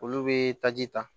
Olu bɛ taji ta